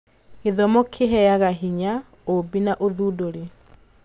Gĩthomo kĩheaga hinya ũũmbi na ũthundũri.